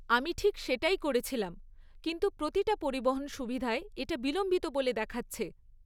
আমি ঠিক সেটাই করেছিলাম, কিন্তু প্রতিটা পরিবহন সুবিধায় এটা বিলম্বিত বলে দেখাচ্ছে।